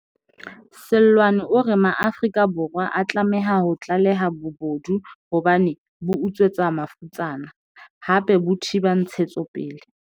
Seloane o re Maafrika Borwa a tlameha ho tlaleha bobodu hobane bo utswetsa mafutsana, hape bo thiba ntshetsopele.